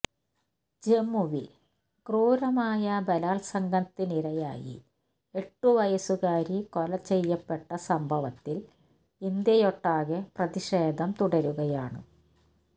ജമ്മുവില് ക്രൂരമായ ബലാത്സംഘത്തിനിരയായി എട്ടു വയസ്സുകാരി കൊലചെയ്യപ്പെട്ട സംഭവത്തില് ഇന്ത്യയൊട്ടാകെ പ്രതിഷേധം തുടരുകയാണ്